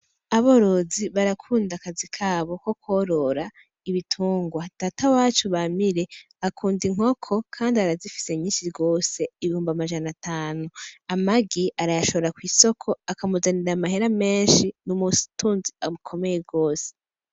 Aborozi barakunda akazi kabo ko kworora ibitingwa, Data wacu Bamire akunda inkoko kandi arazifise nyishi gose ibihumbi amajana atanu, amagi arayashora kwisoko aka muzanira amahera meshi n'umutunzi akomeye gose